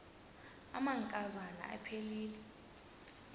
amanka zana aphilele